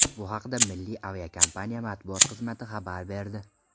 Bu haqda Milliy aviakompaniya matbuot xizmati xabar berdi.